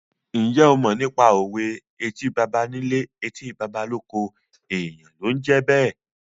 Ǹjẹ́ o mọ nípa òwe "Etí baba nílé, etí baba lóko, èèyàn ló ń jẹ́ bẹ́ẹ̀?"